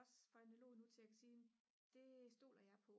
ogs for analog nu til at kunne sige det stoler jeg på